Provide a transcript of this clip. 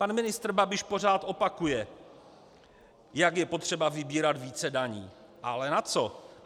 Pan ministr Babiš pořád opakuje, jak je potřeba vybírat více daní, ale na co?